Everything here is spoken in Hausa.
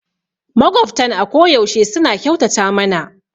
Maƙwabtan a koyaushe suna kyautata mana